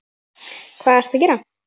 Hvað ertu að gera?